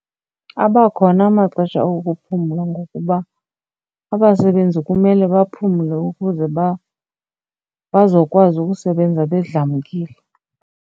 Abakhona amaxesha okuphumla ngokuba abasebenzi kumele baphumle ukuze bazokwazi ukusebenza bedlamkile.